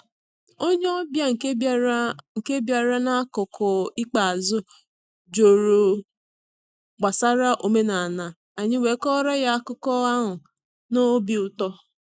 Onye ọbịa nke bịara nke bịara n’akụkụ ikpeazụ jụrụ gbasara omenala, anyị wee kọọrọ ya akụkọ ahụ na obi ụtọ.